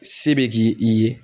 Se bɛ ki i ye